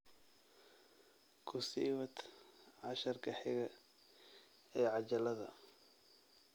Ku sii wad casharka xiga ee cajaladda